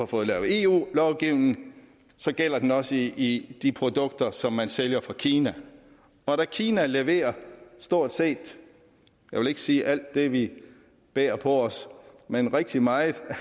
fået lavet eu lovgivning gælder den også i de produkter som man sælger fra kina og da kina leverer stort set jeg vil ikke sige alt det vi bærer på os men rigtig meget